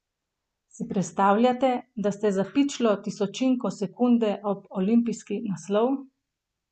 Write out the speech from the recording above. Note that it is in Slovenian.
Si predstavljate, da ste za pičlo tisočinko sekunde ob olimpijski naslov?